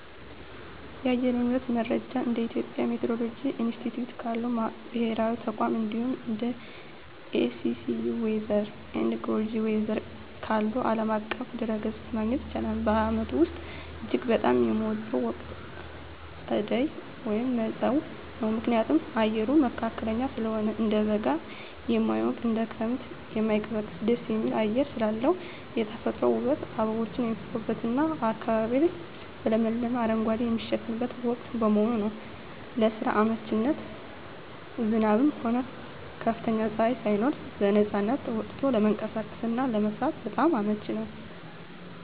የአየር ንብረት መረጃን እንደ የኢትዮጵያ ሚቲዎሮሎጂ ኢንስቲትዩት ካሉ ብሔራዊ ተቋማት፣ እንዲሁም እንደ AccuWeather እና Google Weather ካሉ ዓለም አቀፍ ድረ-ገጾች ማግኘት ይቻላል። በዓመቱ ውስጥ እጅግ በጣም የምወደው ወቅት ጸደይ (መጸው) ነው። ምክንያቱም፦ አየሩ መካከለኛ ስለሆነ፦ እንደ በጋ የማይሞቅ፣ እንደ ክረምትም የማይቀዘቅዝ ደስ የሚል አየር ስላለው። የተፈጥሮ ውበት፦ አበቦች የሚፈኩበትና አካባቢው በለመለመ አረንጓዴ የሚሸፈንበት ወቅት በመሆኑ። ለስራ አመቺነት፦ ዝናብም ሆነ ከፍተኛ ፀሐይ ሳይኖር በነፃነት ወጥቶ ለመንቀሳቀስና ለመስራት በጣም አመቺ ነው።